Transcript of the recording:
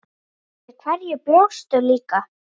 Við hverju bjóstu líka?